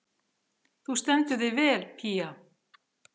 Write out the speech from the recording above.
Þú stendur þig vel, Pía!